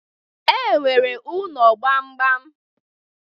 E nwere ụnọ gbamgbam.